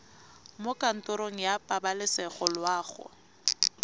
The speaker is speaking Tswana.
mo kantorong ya pabalesego loago